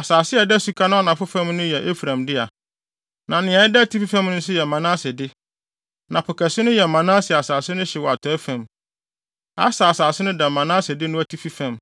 Asase a ɛda suka no anafo fam no yɛ Efraim dea, na nea ɛda atifi fam nso yɛ Manase de; na Po kɛse no yɛ Manase asase no hye wɔ atɔe fam. Aser asase no da Manase de no atifi fam,